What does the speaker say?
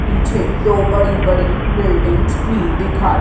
पीछे दो बड़ी बड़ी बिल्डिंग्स भी दिखाई--